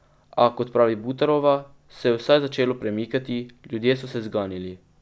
A, kot pravi Butarova, se je vsaj začelo premikati, ljudje so se zganili.